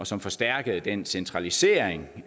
som forstærkede den centralisering